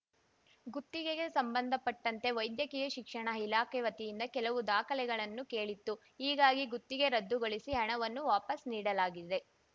ಗುತ್ತಿಗೆಗೆ ಸಂಬಂಧಪಟ್ಟಂತೆ ವೈದ್ಯಕೀಯ ಶಿಕ್ಷಣ ಇಲಾಖೆ ವತಿಯಿಂದ ಕೆಲವು ದಾಖಲೆಗಳನ್ನು ಕೇಳಿತ್ತು ಹೀಗಾಗಿ ಗುತ್ತಿಗೆ ರದ್ದುಗೊಳಿಸಿ ಹಣವನ್ನು ವಾಪಸ್‌ ನೀಡಲಾಗಿದೆ